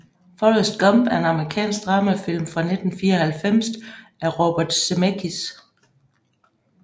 Forrest Gump er en amerikansk dramafilm fra 1994 af Robert Zemeckis